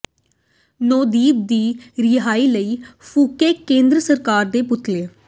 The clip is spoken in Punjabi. ਨੌਦੀਪ ਦੀ ਰਿਹਾਈ ਲਈ ਫੂਕੇ ਕੇਂਦਰ ਸਰਕਾਰ ਦੇ ਪੁਤਲੇ